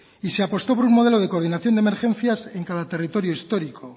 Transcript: y se apostó por un modelo de coordinación de emergencias en cada territorio histórico